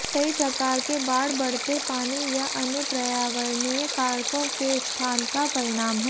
कई प्रकार के बाढ़ बढ़ते पानी या अन्य पर्यावरणीय कारकों के स्थान का परिणाम हैं